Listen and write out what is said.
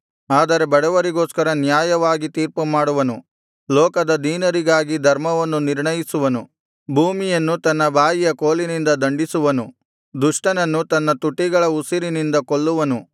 ಆದರೆ ಬಡವರಿಗೋಸ್ಕರ ನ್ಯಾಯವಾಗಿ ತೀರ್ಪುಮಾಡುವನು ಲೋಕದ ದೀನರಿಗಾಗಿ ಧರ್ಮವನ್ನು ನಿರ್ಣಯಿಸುವನು ಭೂಮಿಯನ್ನು ತನ್ನ ಬಾಯಿಯ ಕೋಲಿನಿಂದ ದಂಡಿಸುವನು ದುಷ್ಟನನ್ನು ತನ್ನ ತುಟಿಗಳ ಉಸಿರಿನಿಂದ ಕೊಲ್ಲುವನು